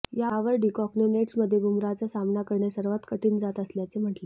यावर डीकॉकने नेट्समध्ये बुमराहचा सामना करणे सर्वात कठीण जात असल्याचे म्हटले